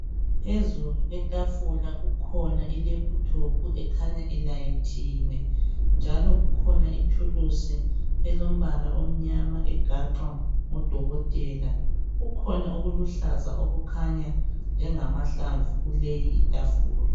Phezulu kwethafula kukhona ilephutophu ekhanya ilayithiwe .Njalo kukhona ithulusi elombala omnyama egaxwa ngodokothela. Kukhona okuluhlaza okukhanya njengamahlamvu kuleyi ithafula.